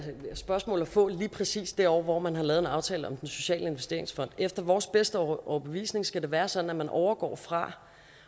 spørgsmål at få lige præcis det år hvor man har lavet en aftale om den sociale investeringsfond efter vores bedste overbevisning skal det være sådan at man overgår fra